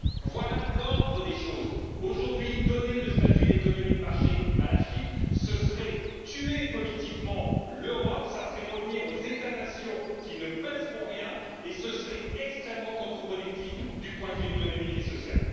Voilà l'ordre des choses aujourd'hui, donner le statut d'économie de marché à la Chine, ce serait tuer politiquement l'Europe, ce serait revenir aux États nations qui ne pèseront rien et ce serait extrêmement contre productif du point de vue économique et social.